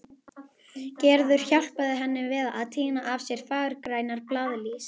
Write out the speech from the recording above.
Gerður hjálpaði henni við að tína af sér fagurgrænar blaðlýs.